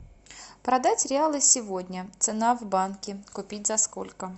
продать реалы сегодня цена в банке купить за сколько